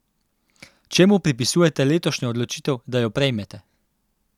Čemu pripisujete letošnjo odločitev, da jo prejmete?